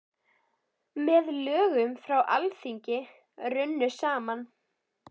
Með lögum frá Alþingi runnu saman